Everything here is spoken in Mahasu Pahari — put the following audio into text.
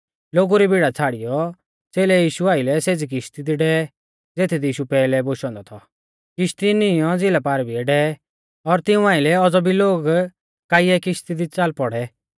लोगु री भीड़ा छ़ाड़ियौ च़ेलै यीशु आइलै सेज़ी किश्ती दी डेवै ज़ेथदी यीशु पैहलै कु बोशौ औन्दौ थौ किश्ती नीईंयौ झ़िला पारभिलै डेवै और तिऊं आइलै औज़ौ भी लोग काइयै किशती दी च़ाल पौड़ै